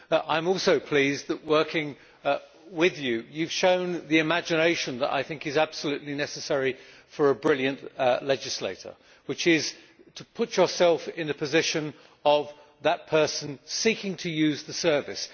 I am also pleased that, working with you, Henrik, you have shown the imagination that is absolutely necessary for a brilliant legislator, which is to put yourself in the position of the person seeking to use the service.